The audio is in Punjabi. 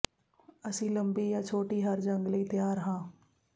ਅਸੀਂ ਲੰਬੀ ਜਾਂ ਛੋਟੀ ਹਰ ਜੰਗ ਲਈ ਤਿਆਰ ਹਾਂ